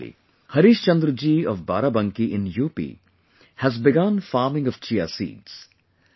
Similarly, Harishchandra ji of Barabanki in UP has begun farming of Chia seeds